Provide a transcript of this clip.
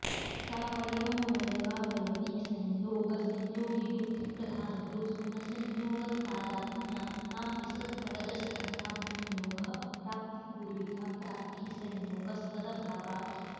सावयवमवयवावयविसंयोगसंयोगिबुद्धिप्रधानयोस्तु न संयोगस्तादात्म्यात् नापि सत्त्वरजस्तमसां संयोगः अप्राप्तिपूर्विका प्राप्तिः संयोगस्तदभावात्